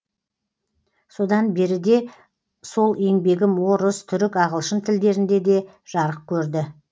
содан беріде сол еңбегім орыс түрік ағылшын тілдерінде де жарық көрді